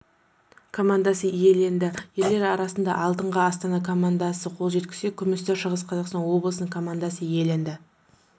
командасы иеленді ерлер арасында алтынға астана командасы қол жеткізсе күмісті шығыс қазақстан облысының командасы иеленді